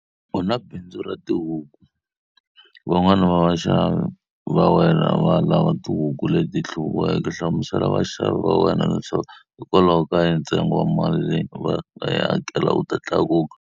U na bindzu ro xavisa tihuku. Van'wana va vaxavi va wena va lava tihuku leti hluviweke. Hlamusela vaxavi va wena leswaku hikokwalaho ka yini ntsengo wa mali leyi va nga yi hakela wu ta tlakuka.